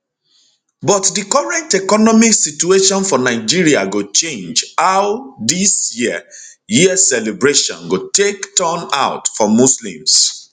but di current economic situation for nigeria go change how dis year year celebration go take turn out for muslims